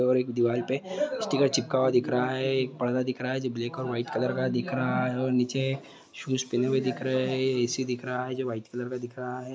और एक दीवाल पे स्टिकर चिपका हुआ दिख रहा है। एक पर्दा दिख रहा है जो ब्लैक और वाइट कलर का दिख रहा है और निचे शूज पहने हुए दिख रहे है ए_सी दिख रहा है जो वाइट कलर का दिख रहा है